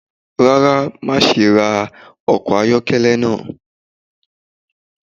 Rara, maṣe ra ọkọ ayọkẹlẹ naa